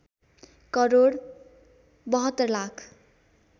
crore ७२ lakh